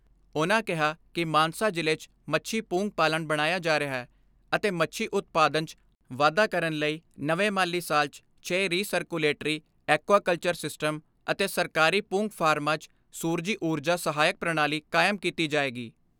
ਉਨ੍ਹਾਂ ਕਿਹਾ ਕਿ ਮਾਨਸਾ ਜ਼ਿਲ੍ਹੇ 'ਚ ਮੱਛੀ ਪੂੰਗ ਪਾਲਣ ਬਣਾਇਆ ਜਾ ਰਿਹੈ ਅਤੇ ਮੱਛੀ ਉਤਪਾਦਨ 'ਚ ਵਾਧਾ ਕਰਨ ਲਈ ਨਵੇਂ ਮਾਲੀ ਸਾਲ 'ਚ ਛੇ recirculatory aquaculture system ਅਤੇ ਸਰਕਾਰੀ ਪੂੰਗ ਫਾਰਮਾਂ 'ਚ ਸੂਰਜੀ ਊਰਜਾ ਸਹਾਇਕ ਪ੍ਰਣਾਲੀ ਕਾਇਮ ਕੀਤੀ ਜਾਏਗੀ।